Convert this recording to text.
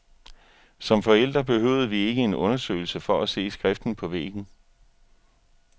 Som forældre behøvede vi ikke en undersøgelse for at se skriften på væggen.